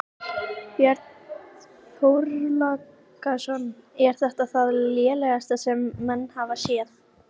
Björn Þorláksson: Er þetta það lélegasta sem menn hafa séð?